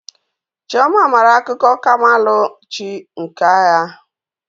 Chioma mara akuko kamalu chi nke agha.